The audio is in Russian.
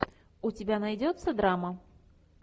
у тебя найдется драма